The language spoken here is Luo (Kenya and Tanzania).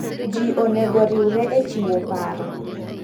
Ji onego riwre e chiwo paro.